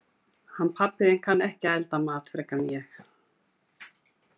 Hann pabbi þinn kann ekki að elda mat frekar en ég.